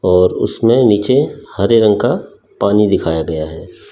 और उसमें नीचे हरे रंग का पानी दिखाया गया हैं।